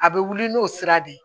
A bɛ wuli n'o sira de ye